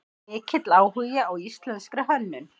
Mikill áhugi á íslenskri hönnun